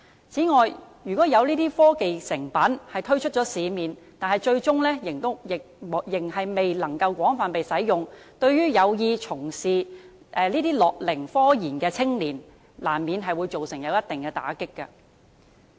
此外，如果這些科技成品推出市面，但最終未能被廣泛使用，難免會對有意從事樂齡科研的青年造成一定的打擊。